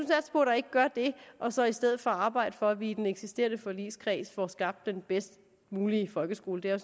ikke gør det og så i stedet for arbejde for at vi i den eksisterende forligskreds får skabt den bedst mulige folkeskole det er